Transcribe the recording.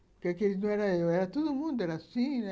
Porque aqueles não eram eu, era todo mundo, era assim, né?